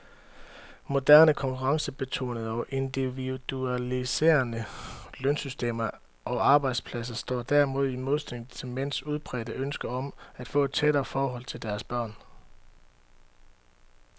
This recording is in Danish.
Moderne konkurrencebetonede og individualiserende lønsystemer og arbejdspladser står derimod ofte i modsætning til mænds udbredte ønske om, at få et tættere forhold til deres børn.